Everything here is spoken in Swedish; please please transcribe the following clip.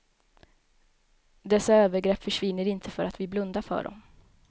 Dessa övergrepp försvinner inte för att vi blundar för dem.